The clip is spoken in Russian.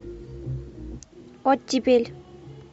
оттепель